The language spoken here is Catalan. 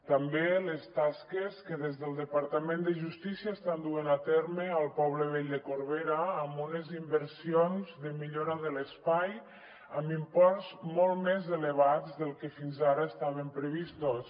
també les tasques que des del departa·ment de justícia estan duent a terme al poble vell de corbera amb unes inversions de millora de l’espai amb imports molt més elevats del que fins ara estaven previstos